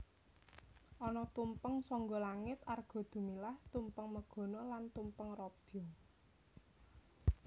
Ana tumpeng sangga langit Arga Dumilah Tumpeng Megono lan Tumpeng Robyong